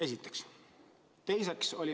Seda esiteks.